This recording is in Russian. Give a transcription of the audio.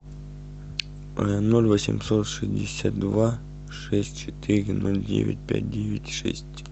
ноль восемьсот шестьдесят два шесть четыре ноль девять пять девять шесть